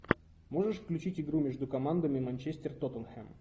можешь включить игру между командами манчестер тоттенхэм